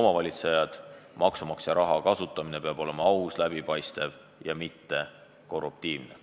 omavalitsejad, maksumaksja raha kasutamine peab olema aus, läbipaistev ja mittekorruptiivne.